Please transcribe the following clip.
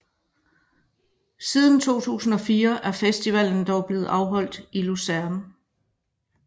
Siden 2004 er festivalen dog blevet afholdt i Luzern